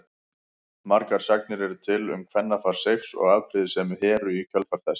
Margar sagnir eru til um kvennafar Seifs og afbrýðisemi Heru í kjölfar þess.